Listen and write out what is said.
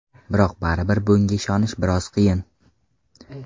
Biroq baribir bunga ishonish biroz qiyin.